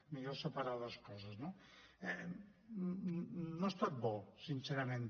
millor separar les coses no no ha estat bo sincerament